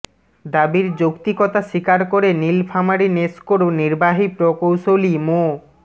দাবির যৌক্তিকতা স্বীকার করে নীলফামারী নেসকোর নির্বাহী প্রকৌশলী মো